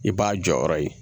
I b'a jɔyɔrɔ ye